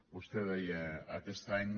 vostè deia aquest any